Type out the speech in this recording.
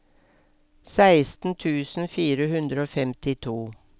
seksten tusen fire hundre og femtito